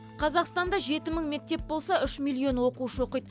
қазақстанда жеті мың мектеп болса онда үш миллион оқушы оқиды